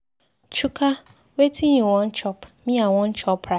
Chuka wetin you Wan chop, me I wan chop rice.